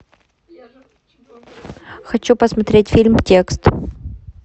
хочу посмотреть фильм текст